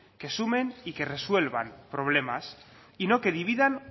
que sumen y que resuelvan problemas y no que dividan